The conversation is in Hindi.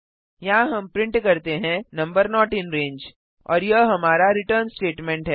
यहाँ हम प्रिंट करते हैं नंबर नोट इन रंगे और यह हमारा रिटर्न स्टेटमेंट है